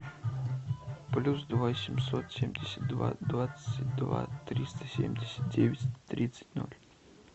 плюс два семьсот семьдесят два двадцать два триста семьдесят девять тридцать ноль